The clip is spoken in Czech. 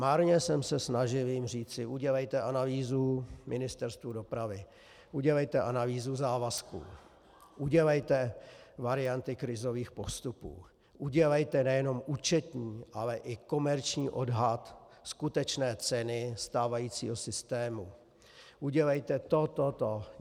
Marně jsem se snažil jim říci: Udělejte analýzu Ministerstvu dopravy, udělejte analýzu závazku, udělejte varianty krizových postupů, udělejte nejenom účetní, ale i komerční odhad skutečné ceny stávajícího systému, udělejte to, to, to.